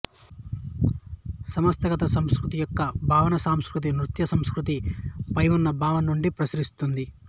సంస్థాగత సంస్కృతి యొక్క భావన సాంస్కృతిక నృశాస్త్రంలో సంస్కృతి పై ఉన్న భావన నుండి ప్రసరిస్తుంది